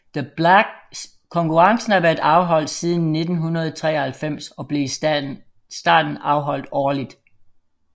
Konkurrencen har været afholdt siden 1993 og blev i starten afholdt årligt